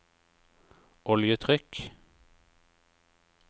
oljetrykk